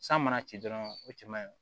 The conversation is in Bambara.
San mana ci dɔrɔn o cɛ man ɲi